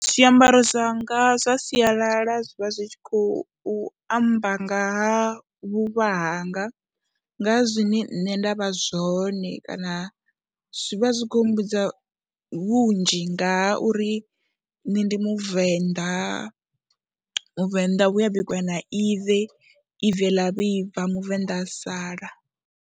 Zwiambaro zwanga zwa sialala zwi vha zwi tshi khou amba nga ha vhuvha hanga, nga zwine nṋe nda vha zwone kana zwi vha zwi khou humbudza vhunzhi nga uri nṋe ndi Muvenḓa, Muvenḓa we a bikwa na ive, ive ḽa vhibva Muvenḓa a sala.